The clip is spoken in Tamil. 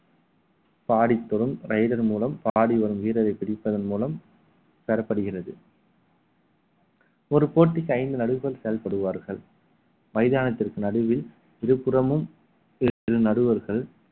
பாடித்தரும் raider மூலம் பாடி வரும் வீரரை பிடிப்பதன் மூலம் பெறப்படுகிறது ஒரு போட்டிக்கு ஐந்து நடுவர் செயல்படுவார்கள் மைதானத்திற்கு நடுவில் இருபுறமும் இரு நடுவர்கள்